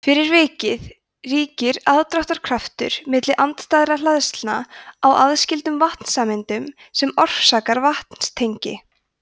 fyrir vikið ríkir aðdráttarkraftur milli andstæðra hleðslna á aðskildum vatnssameindum sem orsakar vetnistengi